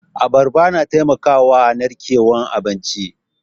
Abarba na taimakawa a narkewan abinci.